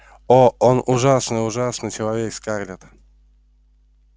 оо он ужасный ужасный человек скарлетт